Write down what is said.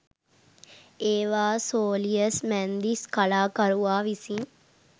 ඒවා සෝලියස් මැන්දිස් කලාකරුවා විසින්